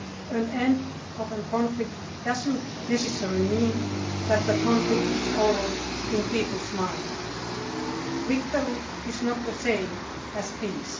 An end to a conflict does not necessarily mean that the conflict is over in people's minds. Victory is not the same as peace.